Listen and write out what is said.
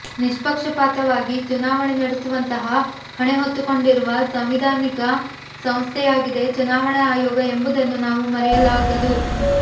ನಿಷ್ಪಕ್ಷಪಾತವಾಗಿ ಚುನಾವಣೆ ನಡೆಸುವಂತಹ ಹೊಣೆ ಹೊತ್ತುಕೊಂಡಿರುವ ಸಾಂವಿಧಾನಿಕ ಸಂಸ್ಥೆಯಾಗಿದೆ ಚುನಾವಣಾ ಆಯೋಗ ಎಂಬುದನ್ನು ನಾವು ಮರೆಯಲಾಗದು